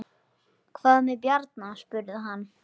Hvað með Bjarna? spurði hann.